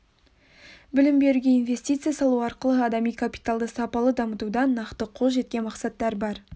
білім беруге инвестиция салу арқылы адами капиталды сапалы дамытуда нақты қол жеткен мақсаттар бар